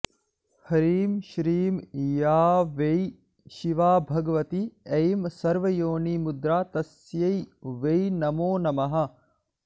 ह्रीं श्रीं या वै शिवा भगवती ऐं सर्वयोनिमुद्रा तस्यै वै नमो नमः